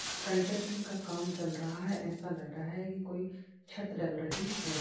Construction का काम चल रहा है। ऐसा लग रहा है कि कोई छत डल रही है।